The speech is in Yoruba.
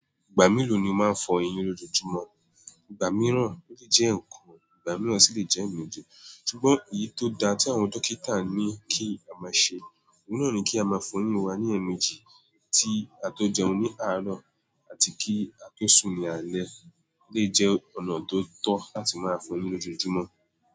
Ìgbà mélòó ni ó máa ń fọ eyín lójúmọ́? Ìgbà mìíràn onlè jẹ́ ọ̀kan, ìgbà mìíràn sì lè jẹ́ èémejì. Sugbon èyí tó da tí àwọn dókítà ní kí a má ṣe. Òun na ni kí a má fọ eyín wa ní èémejì. Tí a tó jẹun ní àárọ̀ àti kí a tó sùn ní alẹ́ lè jẹ́ ọ̀nà tó tọ́ láti máa fọ eyín lójúmọ́.